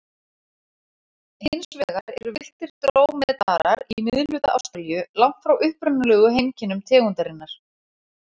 Hins vegar eru villtir drómedarar í miðhluta Ástralíu, langt frá upprunalegu heimkynnum tegundarinnar.